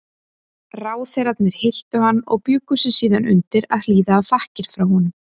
Ráðherrarnir hylltu hann og bjuggu sig síðan undir að hlýða á þakkir frá honum.